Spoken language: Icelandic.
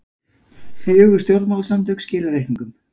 Fjögur stjórnmálasamtök skila reikningum